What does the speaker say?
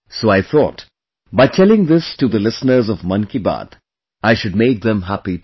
So I thought, by telling this to the listeners of 'Mann Ki Baat', I should make them happy too